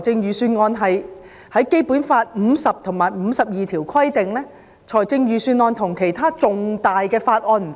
根據《基本法》第五十條及第五十二條，基本上，預算案與其他重大法案不同。